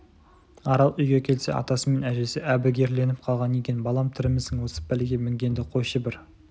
арал үйге келсе атасы мен әжесі әбігерленіп қалған екен балам тірімісің осы пәлеге мінгенді қойшы бір